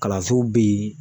Kalansow be yen